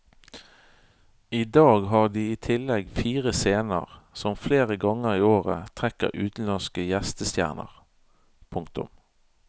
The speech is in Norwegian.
I dag har de i tillegg fire scener som flere ganger i året trekker utenlandske gjestestjerner. punktum